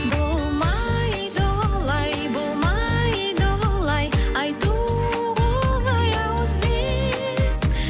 болмайды олай болмайды олай айтуға оңай ауызбен